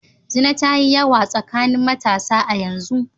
Zina ta yi yawa tsakanin matasa a yanzu.